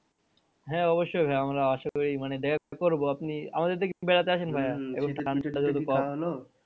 হ্যাঁ অবশ্যই ভাইয়া আমরা আশা করি মানে দেখা করবো আপনি আমাদের এদিকে বেড়াতে আসেন ভাইয়া